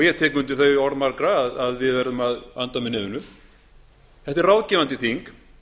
ég tek undir þau orð margra að við verðum að anda með nefinu þetta er ráðgefandi þing